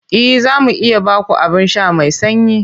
E, za mu iya ba ku abin sha mai sanyi.